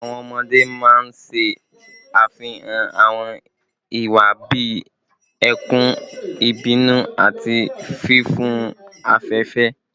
Awọn ọmọde maa n ṣe afihan awọn iwa bii ẹkun, ibinu, ati fifun afẹfẹ